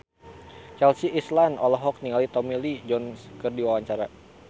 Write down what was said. Chelsea Islan olohok ningali Tommy Lee Jones keur diwawancara